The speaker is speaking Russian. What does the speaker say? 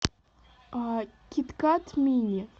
кит кат мини